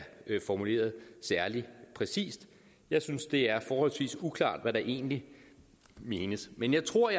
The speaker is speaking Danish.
formuleret særlig præcist jeg synes det er forholdsvis uklart hvad der egentlig menes men jeg tror